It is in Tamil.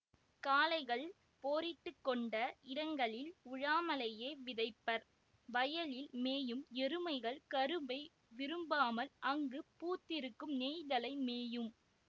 காளைகள் போரிட்டுக்கொண்ட இடங்களில் உழாமலேயே விதைப்பர் வயலில் மேயும் எருமைகள் கரும்பை விரும்பாமல் அங்குப் பூத்திருக்கும் நெய்தலை மேயும்